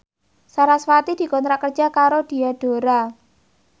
sarasvati dikontrak kerja karo Diadora